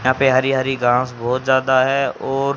यहां पे हरी हरी घास बहोत ज्यादा है और--